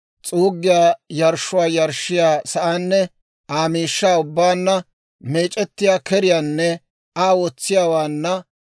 s'uuggiyaa yarshshuwaa yarshshiyaa sa'aanne Aa miishshaa ubbaanna, meec'ettiyaa keriyaanne Aa wotsiyaawaanna,